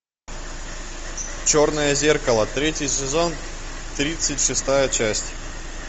черное зеркало третий сезон тридцать шестая часть